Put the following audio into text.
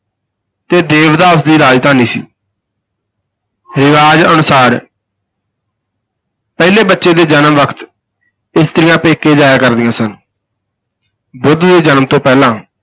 ਤੇ ਦੇਵਦਾਹ ਉਸ ਦੀ ਰਾਜਧਾਨੀ ਸੀ ਰਿਵਾਜ ਅਨੁਸਾਰ ਪਹਿਲੇ ਬੱਚੇ ਦੇ ਜਨਮ ਵਕਤ ਇਸਤਰੀਆਂ ਪੇਕੇ ਜਾਇਆ ਕਰਦੀਆਂ ਸਨ ਬੁੱਧ ਦੇ ਜਨਮ ਤੋਂ ਪਹਿਲਾਂ